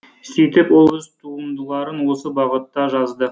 сөйтіп ол өз туындыларын осы бағытта жазды